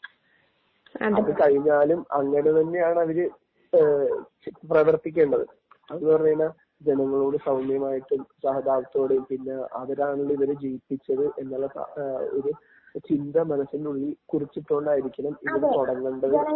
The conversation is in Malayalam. അത് കഴിഞ്ഞാലും അങ്ങനെതന്നെയാണ് അവര് പ്രവർത്തിക്കേണ്ടത്. എന്നുപറഞ്ഞാൽ ജനങ്ങളോട് സൗമ്യമായിട്ടും സഹതാപത്തോടെയും. പിന്നെ അവരാണ് ഇവരെ ജയിപ്പിച്ചത് എന്നുള്ള ഒരു ചിന്ത മനസ്സിന്റെ യുള്ളിൽ കുറിച്ചിട്ടുകൊണ്ടായിരിക്കണം ഇത് തുടങ്ങേണ്ടത്.